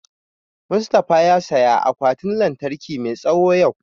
Mustafa ya saya akwatin lantarki mai tsawo yau